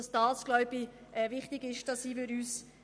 Wir sind uns wahrscheinlich einig, dass das wichtig ist.